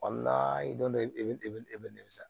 don dɔ i bɛ i bɛ sa